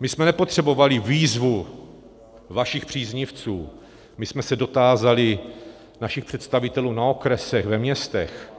My jsme nepotřebovali výzvu vašich příznivců, my jsme se dotázali našich představitelů na okresech, ve městech,